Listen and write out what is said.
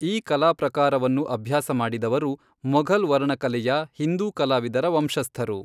ಈ ಕಲಾಪ್ರಕಾರವನ್ನು ಅಭ್ಯಾಸ ಮಾಡಿದವರು ಮೊಘಲ್ ವರ್ಣಕಲೆಯ ಹಿಂದೂ ಕಲಾವಿದರ ವಂಶಸ್ಥರು.